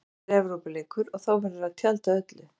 Þetta er Evrópuleikur og þá verður að tjalda öllu.